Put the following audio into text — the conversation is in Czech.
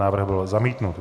Návrh byl zamítnut.